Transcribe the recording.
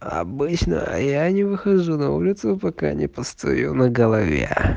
а обычно я не выхожу на улицу пока не постою на голове